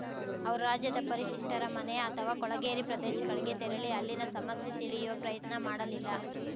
ಅವರು ರಾಜ್ಯದ ಪರಿಶಿಷ್ಟರ ಮನೆ ಅಥವಾ ಕೊಳಗೇರಿ ಪ್ರದೇಶಗಳಿಗೆ ತೆರಳಿ ಅಲ್ಲಿನ ಸಮಸ್ಯೆ ತಿಳಿಯುವ ಪ್ರಯತ್ನ ಮಾಡಲಿಲ್ಲ